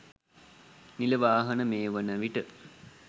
නිල වාහන මේ වන විට